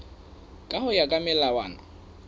ka ho ya ka melawana